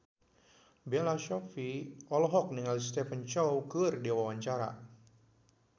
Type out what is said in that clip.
Bella Shofie olohok ningali Stephen Chow keur diwawancara